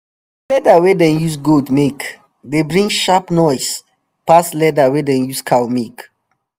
leather wey dem use goat make dey bring sharp noise pass leather wey dem use cow make